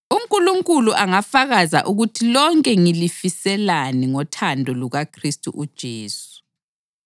UNkulunkulu angafakaza ukuthi lonke ngilifiselani ngothando lukaKhristu uJesu.